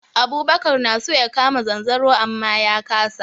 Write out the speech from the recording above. Abubakar na so ya kama zanzaro amma ya kasa.